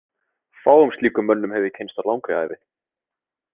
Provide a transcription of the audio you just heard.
Fáum slíkum mönnum hef ég kynnst á langri ævi.